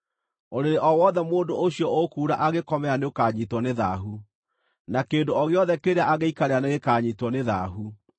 “ ‘Ũrĩrĩ o wothe mũndũ ũcio ũkuura angĩkomera nĩũkanyiitwo nĩ thaahu, na kĩndũ o gĩothe kĩrĩa angĩikarĩra nĩgĩkanyiitwo nĩ thaahu.